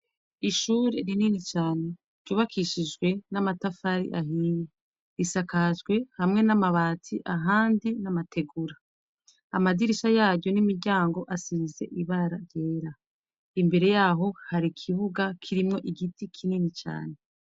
Ishure rinini cane ryubakishijwe n'amatafari ahiye isakajwe hamwe namabati ahandi n'amategura amadirisha yaryo n'imiryango asize ibara ryera, imbere yaho hari ikibuga kirimwo igiti kinini cane .